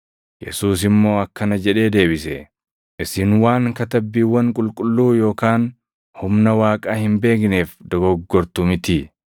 Yesuus immoo akkana jedhee deebise; “Isin waan Katabbiiwwan Qulqulluu yookaan humna Waaqaa hin beekneef dogoggortu mitii?